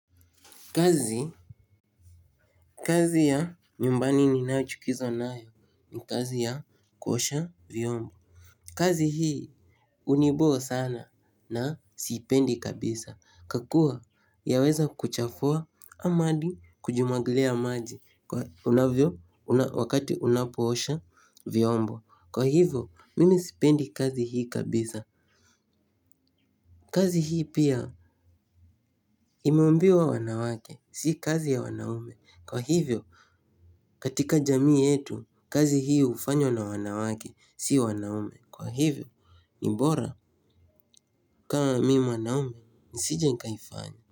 Kazi, kazi ya nyumbani ninao chukizwa nayo ni kazi ya kuosha vyombo. Kazi hii uniboo sana na sipendi kabisa. Ka kuwa yaweza kukuchafua ama adi kujimwagilia maji wakati unaosha vyombo. Kwa hivyo, mimi sipendi kazi hii kabisa. Kazi hii pia imeumbiwa wanawake, si kazi ya wanaume. Kwa hivyo, katika jamii yetu, kazi hiu ufanyw na wanawake, siwa naume. Kwa hivyo, mbora kama mimi mwanaume, nisije nkaifanya.